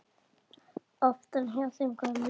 Oftar hjá þeim gömlu.